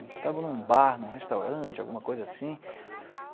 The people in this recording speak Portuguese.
Estava em um bar, em um restaurante, alguma coisa assim.